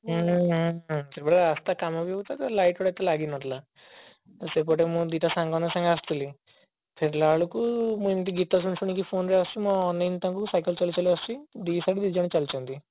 ହୁଁ ସେତେବେଳେ ରାସ୍ତା କାମ ବି ହଉଥିଲା light ଗୁଡା ଏତେ ଲାଗି ନଥିଲା ସେପଟେ ମୁଁ ଦିଟା ସାଙ୍ଗ ମାନଙ୍କ ସହ ଆସୁଥିଲି ଫେରିଲା ବେଳକୁ ମୁଁ ଏମିତି ଗୀତ ଶୁଣି ଶୁଣି phone ରେ ଆସୁଛି ମୁଁ ଅନେଇନି ତାଙ୍କୁ cycle ଚଳେଇ ଚଳେଇ ଆସୁଛି ଦି side ରେ ଦି ଜଣ ଚାଲୁଛନ୍ତି